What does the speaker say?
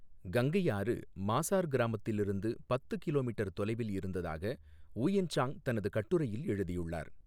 கங்கை ஆறு மாசார் கிராமத்திலிருந்து பத்து கிலோமீட்டர் தொலைவில் இருந்ததாக ஊயென் சாங் தனது கட்டுரையில் எழுதியுள்ளார்.